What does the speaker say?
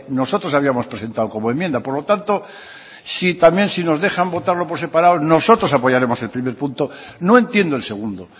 nosotros habíamos presentado como enmienda por lo tanto si también si nos dejan botar por separado nosotros apoyaremos el primer punto no entiendo el segundo